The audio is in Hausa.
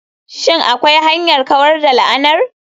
Shin akwai hanyar kawar da la'anar?